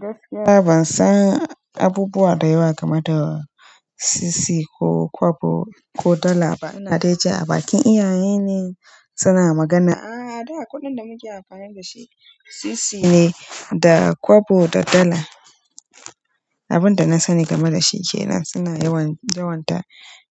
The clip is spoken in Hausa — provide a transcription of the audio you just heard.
Gaskiya bansan abubuwa da yawa game da sisi ko kwabo ko dollar ba Hadeja a bakin iyaye ne suna magana, a'a da kuɗin da muke amfani da shi sisi ne da kwabo da dala. Abin da na sani game da shi ke nan suna yawan, yawon ta